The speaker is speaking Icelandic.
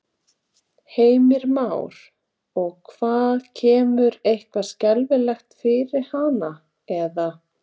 Heimir Már: Og hvað kemur eitthvað skelfilegt fyrir hana eða?